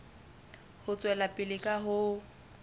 ho tswela pele ka ho